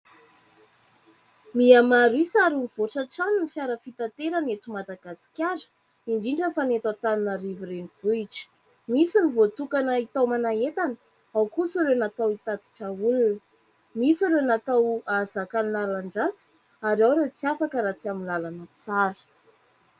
Miamaro isa ary mivoatra hatrany ny fiara fitaterana eto Madagasikara, indrindra fa ny eto Antananarivo renivohitra. Misy ny voatokana hitaomana entana, ao kosa ireo natao hitatitra olona. Misy ireo natao ahazaka ny lalan-drasy ary ao ireo tsy afaka raha tsy amin'ny lalana tsara.